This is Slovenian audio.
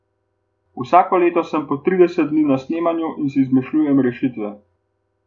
Vsako leto sem po trideset dni na snemanju in si izmišljujem rešitve.